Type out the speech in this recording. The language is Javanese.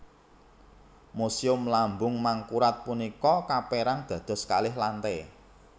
Muséum Lambung Mangkurat punika kapérang dados kalih lantai